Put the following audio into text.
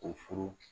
O furu